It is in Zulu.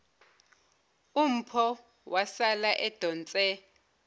umpho wasala edonse